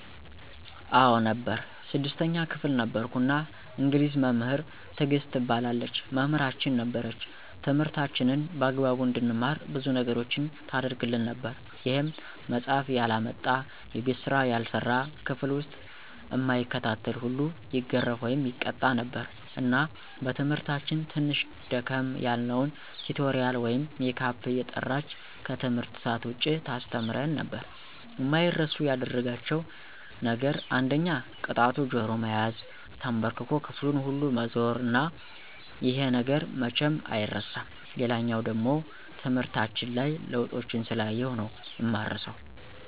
አዎ ነበር 6ተኛ ክፍል ነበርኩ እና እንግሊዝ መምህር ትግስት ትባላለች መምህራችን ነበረች ትምህርታችንን በአግባቡ እንድንማር ብዙ ነገሮችን ታረግልን ነበር ይሄም መፃሐፍ ያላመጣ፣ የቤት ስራ ያልሰራ፣ ክፍል ዉስጥ እማይከታተል ሁሉ ይገረፍ( ይቀጣ ) ነበር እና በትምህርታችን ትንሽ ደከም ያልነዉን ቲቶሪያል ወይም ሜካፕ እየጠራች ከትምህርት ሰአት ዉጭ ታስተምረን ነበር። አማይረሱ ያደረጋቸዉ ነገር አንደኛ ቅጣቱ ጆሮ መያዝ፣ ተንበርክኮ ክፍሉን ሁሉ መዞር እና ይሄ ነገር መቼም አይረሳም። ሌላኛዉ ደሞ ትምህርታችን ላይ ለዉጦችን ስላየሁ ነዉ እማረሳዉ።